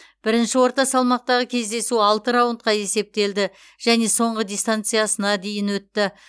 бірінші орта салмақтағы кездесу алты раундқа есептелді және соңғы дистанциясына дейін өтті